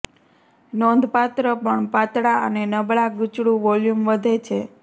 નોંધપાત્ર પણ પાતળા અને નબળા ગૂંચળું વોલ્યુમ વધે છે